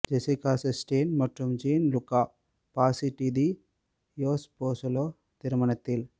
Jessica Chastain மற்றும் Gian Luca Passi de தியோஸ்போசூலோ திருமணத்தில்